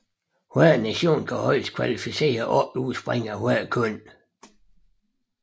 Hver nation kan højest kvalificere 8 udspringere af hvert køn